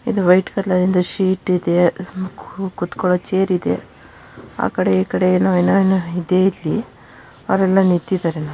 ಇಲ್ಲಿ white colour ಇಂದ sheet ಇದೆ. ಕು ಕೂತುಕೊಳು ಚೇರ್‌ ಇದೆ ಆ ಕಡೆ ಈ ಕಡೆ ಏನೋ ಏನೋ ಇದೆ ಇಲ್ಲಿ. ಅವರೆಲ್ಲಾ ನಿಂತಿದ್ದಾರೆ.